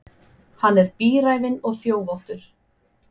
Hann er bíræfinn og þjófóttur.